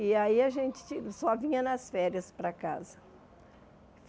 E aí a gente só vinha nas férias para casa.